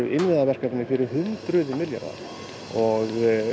verkefni fyrir hundruði milljarða og